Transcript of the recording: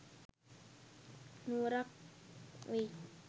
නුවරක් වෙයි.